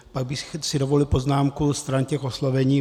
Pak bych si dovolil poznámku stran těch oslovení.